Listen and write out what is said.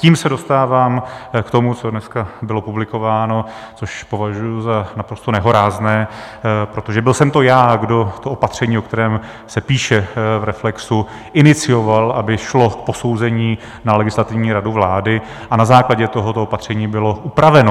Tím se dostávám k tomu, co dneska bylo publikováno, což považuji za naprosto nehorázné, protože byl jsem to já, kdo to opatření, o kterém se píše v Reflexu, inicioval, aby šlo k posouzení na Legislativní radu vlády, a na základě toho to opatření bylo upraveno.